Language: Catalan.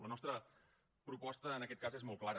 la nostra proposta en aquest cas és molt clara